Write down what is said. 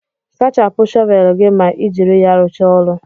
Sachapụ shọvelu gị ma ị jiri ya rụcha ọrụ